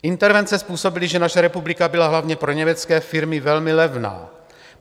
Intervence způsobily, že naše republika byla hlavně pro německé firmy velmi levná.